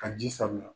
Ka ji sanuya